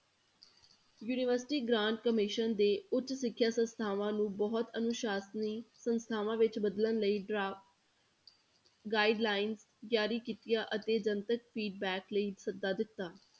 University grant commission ਦੇ ਉੱਚ ਸਿੱਖਿਆ ਸੰਸਥਾਵਾਂ ਨੂੰ ਬਹੁਤ ਅਨੁਸਾਸਨੀ ਸੰਸਥਾਵਾਂ ਵਿੱਚ ਬਦਲਣ ਲਈ ਡਰਾ~ guidelines ਜਾਰੀ ਕੀਤੀਆਂ ਅਤੇ ਜਨਤਕ feedback ਲਈ ਸੱਦਾ ਦਿੱਤਾ।